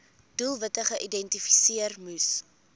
doelwitte geïdentifiseer moes